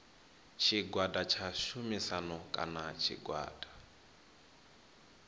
tshigwada tsha tshumisano kana tshigwada